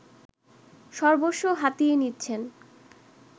সর্বস্ব হাতিয়ে নিচ্ছেন